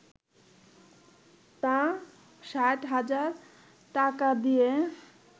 তা ৬০ হাজার টাকা দিয়ে